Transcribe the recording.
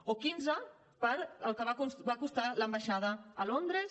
o quinze per al que va costar l’ambaixada a londres